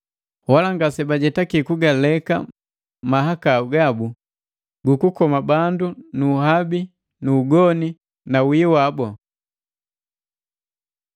Wala ngasebajetaki kugaleka mahakau gabu gukukoma bandu nu uhabi nu ugoni na wihi wabu.